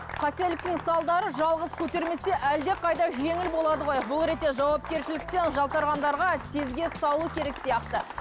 қателіктің салдары жалғыз көтермесе әлде қайда жеңіл болады ғой бұл ретте жауапкершіліктен жалтарғандарға тезге салу керек сияқты